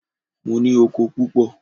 Mo ní oko púpọ̀.